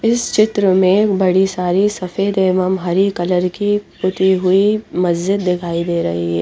इस चित्र में बड़ी सारी सफेद एव हरे कलर की टूटी हुई मस्जिद दिखाई दे रही है।